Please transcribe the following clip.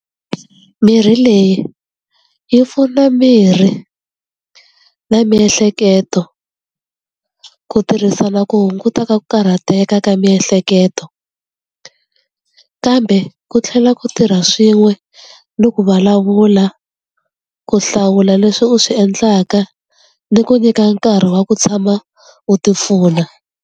Mirhi leyi yi pfuna miri na miehleketo ku tirhisana ku hunguta ka ku karhateka ka miehleketo kambe ku tlhela ku tirha swin'we ni ku vulavula ku hlawula leswi u swi endlaka ni ku nyika nkarhi wa ku tshama u ti pfuna.